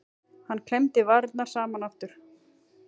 Hann klemmdi varirnar saman aftur.